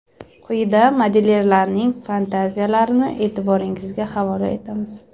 Quyida modelyerlarning fantaziyalarini e’tiboringizga havola etamiz.